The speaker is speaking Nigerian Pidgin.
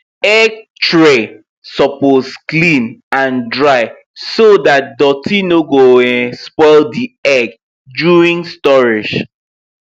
egg tray suppose clean and dry so that dirt no go um spoil the egg during storage